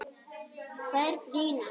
Hvað er brýnast?